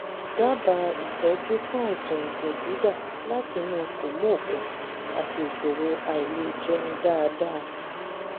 dábàá ìtọ́jú fún àìsàn ẹ̀jẹ̀ dídà láti inú kòmóòkun àti ìṣòro àìlèjẹun dáadáa